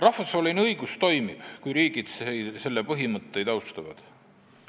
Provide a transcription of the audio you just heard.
Rahvusvaheline õigus toimib, kui riigid selle põhimõtteid austavad.